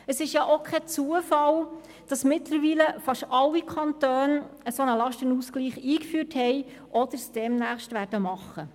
Es ist auch kein Zufall, dass mittlerweile fast alle Kantone einen solchen Lastenausgleich eingeführt haben oder es demnächst tun werden.